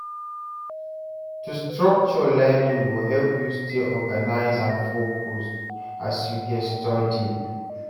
To structure learning go help you stay organized and focused as you dey study.